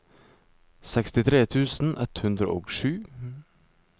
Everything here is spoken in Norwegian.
sekstitre tusen ett hundre og sju